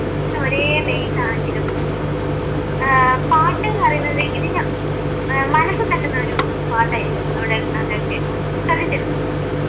ഒരേ ബേസാണെങ്കിലും ഏർ പാട്ടുന്ന് പറയുന്നത് ഇതിൻറെ മനസ്സിൽ തട്ടുന്ന ഒരു പാട്ടായിരിക്കും അവിടെ അവിടൊക്കെ ശ്രദ്ദിച്ചിട്ടുണ്ടോ?